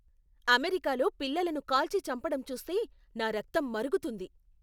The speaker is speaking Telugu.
అమెరికాలో పిల్లలను కాల్చి చంపడం చూస్తే నా రక్తం మరుగుతుంది.